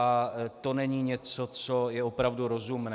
A to není něco, co je opravdu rozumné.